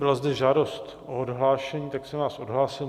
Byla zde žádost o odhlášení, tak jsem vás odhlásil.